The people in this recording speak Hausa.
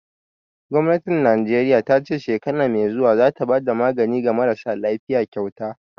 Gwamnatin Najeriya ta ce shekara mai zuwa za ta bada magani ga marasa lafiya kyauta